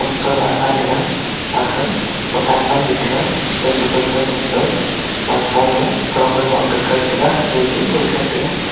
am sola gan tega aga khawtan namley tega khosoi khosoi ma gag maipolo flower lo akga kai taiga eya zing ngoi kai taga.